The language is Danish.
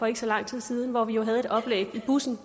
ikke så lang tid siden hvor vi i bussen